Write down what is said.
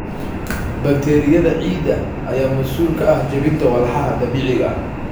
Bakteeriyada ciidda ayaa mas'uul ka ah jebinta walxaha dabiiciga ah.